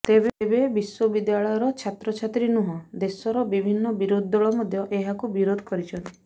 ତେବେ ବିଶ୍ୱବିଦ୍ୟାଳୟର ଛାତ୍ରଛାତ୍ରୀ ନୁହଁ ଦେଶର ବିଭିନ୍ନ ବିରୋଧୀ ଦଳ ମଧ୍ୟ ଏହାକୁ ବିରୋଧ କରିଛନ୍ତି